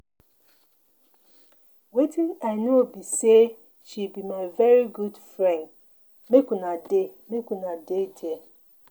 Wetin I know be say she be my very good friend. Make una dey make una dey there